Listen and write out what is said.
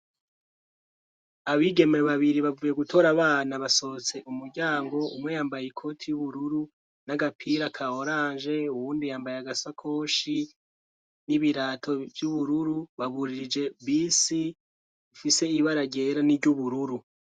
Abigeme babiri bavuye gutora abana basohotse umuryango umwe yambaye ikoti y'ubururu n'agapira kahorange uwundi yambaye agasakoshi n'ibirato vy'ubururu baburirije bisi ifise ibara ryera n'iry'ubururu.